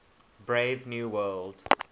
brave new world